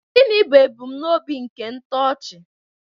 Gịnị bụ ebumnobi nke ntochi?